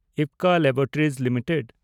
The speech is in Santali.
Ipca laboratories limited